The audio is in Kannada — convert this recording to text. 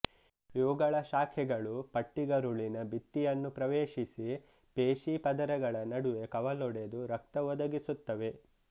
ಇವುಗಳ ಶಾಖೆಗಳು ಪಟ್ಟಿಗರುಳಿನ ಭಿತ್ತಿಯನ್ನು ಪ್ರವೇಶಿಸಿ ಪೇಶಿಪದರಗಳ ನಡುವೆ ಕವಲೊಡೆದು ರಕ್ತ ಒದಗಿಸುತ್ತವೆ